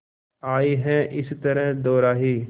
आए हैं इस तरह दोराहे